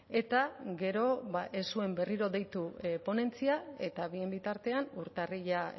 eta gero ez zuen berriro deitu ponentzia eta bien bitartean urtarrila